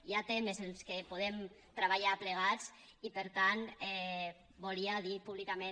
hi ha temes en què podem treballar plegats i per tant volia dir públicament